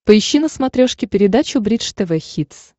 поищи на смотрешке передачу бридж тв хитс